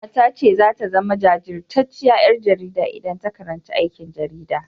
Ƙanwarta ta ce zata zama jajirtacciyar ƴar jarida idan ta karanci aikin jarida.